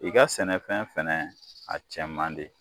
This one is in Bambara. I ka sɛnɛfɛn fɛnɛ, a cɛn man di.